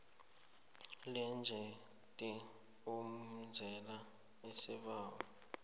lephrojekhthi oyenzela isibawo